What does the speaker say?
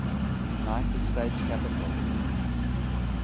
united states capitol